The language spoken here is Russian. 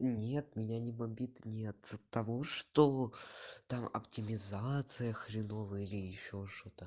нет меня не бомбит не от того что там оптимизация хреновая или ещё что-то